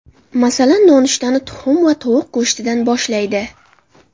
Masalan, nonushtani tuxum va tovuq go‘shtidan boshlaydi.